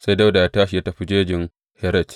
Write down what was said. Sai Dawuda ya tashi ya tafi jejin Heret.